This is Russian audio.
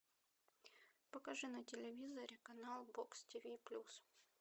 покажи на телевизоре канал бокс тв плюс